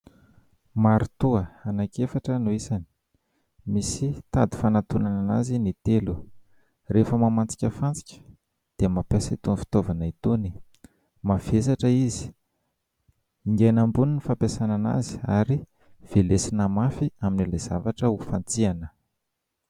Marito anankiefatra no isany. Misy tady fanantonana azy ny telo. Rehefa mamantsika fantsika dia mampiasa itony fitaovana itony. Mavesatra izy. Ingaina ambony no fampiasana anazy ary velesina mafy amin'ilay zavatra ho fantsihina.